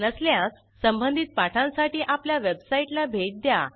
नसल्यास संबधित पाठांसाठी आपल्या वेबसाईटला भेट द्या